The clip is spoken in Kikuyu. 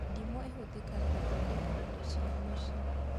Ndimũ ĩhũthĩkaga gũthondeka indo cia mũciĩ